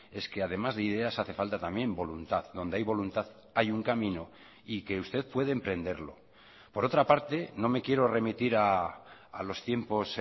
es que además de ideas hace falta también voluntad donde hay voluntad hay un camino y que usted puede emprenderlo por otra parte no me quiero remitir a los tiempos